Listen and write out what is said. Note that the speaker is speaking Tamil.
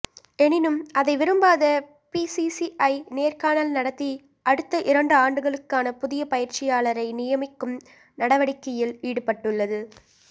எனினும் அதை விரும்பாத பிசிசிஐ நேர்காணல் நடத்தி அடுத்த இரண்டு ஆண்டுகளுக்கான புதிய பயிற்சியாளரை நியமிக்கும் நடவடிக்கையில் ஈடுபட்டுள்ளது